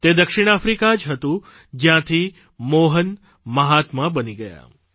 તે દક્ષિણ આફ્રિકા જ હતું જયાંથી મોહન મહાત્મા બની ગયા